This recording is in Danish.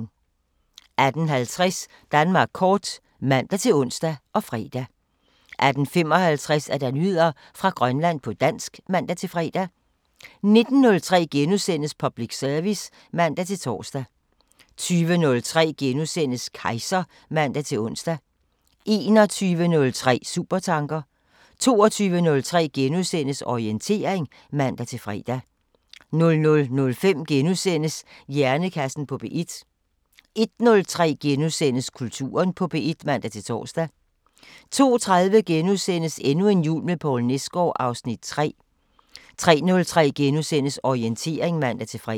18:50: Danmark kort (man-ons og fre) 18:55: Nyheder fra Grønland på dansk (man-fre) 19:03: Public service *(man-tor) 20:03: Kejser *(man-ons) 21:03: Supertanker 22:03: Orientering *(man-fre) 00:05: Hjernekassen på P1 * 01:03: Kulturen på P1 *(man-tor) 02:30: Endnu en jul med Poul Nesgaard (Afs. 3)* 03:03: Orientering *(man-fre)